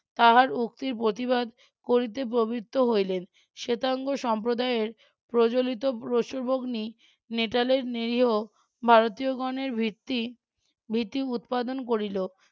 তাহার উক্তির প্রতিবাদ করিতে প্রবৃত্ত হইলেন শ্বেতাঙ্গ সম্প্রদায়ের প্রজ্বলিত নেটালের নিরিহ ভারতীয়গণের ভিত্তি ভিত্তি উৎপাদন করিল.